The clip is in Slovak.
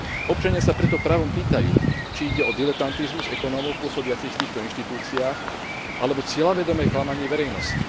Občania sa preto právom pýtajú, či ide o diletantizmus ekonómov pôsobiacich v týchto inštitúciách alebo cieľavedomé klamanie verejnosti.